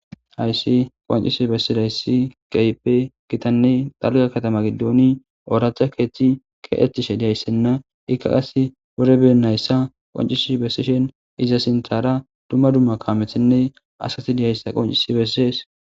hayssi qoncisi bessidayssi qeiphe gitanne xalga katama giddooni ooracha keechchi keeththishe diyayssenna ikka qas bore beennayssa qoncishi bessishen iza sinthara dumma dumma kaamethenne asati diyayssa qoncisi besses